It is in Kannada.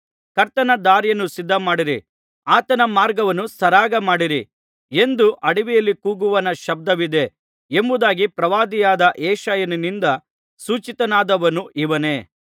ಕರ್ತನ ದಾರಿಯನ್ನು ಸಿದ್ಧಮಾಡಿರಿ ಆತನ ಮಾರ್ಗವನ್ನು ಸರಾಗ ಮಾಡಿರಿ ಎಂದು ಅಡವಿಯಲ್ಲಿ ಕೂಗುವವನ ಶಬ್ದವಿದೆ ಎಂಬುದಾಗಿ ಪ್ರವಾದಿಯಾದ ಯೆಶಾಯನಿಂದ ಸೂಚಿತನಾದವನು ಇವನೇ